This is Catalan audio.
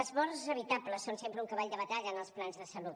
les morts evitables són sempre un cavall de batalla en els plans de salut